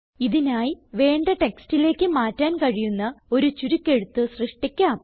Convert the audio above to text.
ഇതിനായി വേണ്ട ടെക്സ്റ്റിലേക്ക് മാറ്റാൻ കഴിയുന്ന ഒരു ചുരുക്കെഴുത്ത് സൃഷ്ടിക്കാം